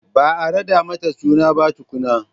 Ba a raɗa mata suna ba tukunna